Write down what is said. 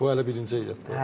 Bu hələ birinci heyət.